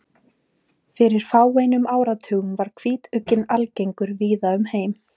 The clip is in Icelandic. Fyrir fáeinum áratugum var hvítugginn algengur víða um heim.